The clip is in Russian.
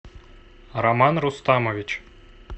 роман рустамович